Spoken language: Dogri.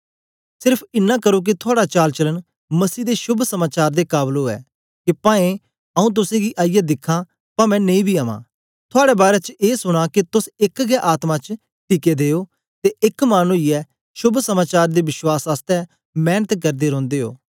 सेर्फ इनां करो के थुआड़ा चालचलन मसीह दे शोभ समाचार दे काबल ओ के पवें आऊँ तुसेंगी आईयै दिखां पवें नेई बी अवां थुआड़े बारै च ए सुनां के तोस एक गै आत्मा च टिके दे ओ ते एक मन ओईयै शोभ समाचार दे विश्वास आसतै मेंनत करदे रौंदे ओ